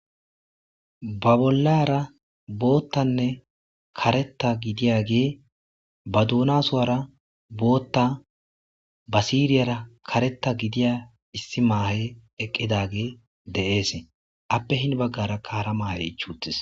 Ba bollara boottanne karetta gidiyage ba duuna suwara bootta ba siiriyara kareta gidiya issi maahe eqqidage de'eesee appe hin baggara kaara maahe ichuuttis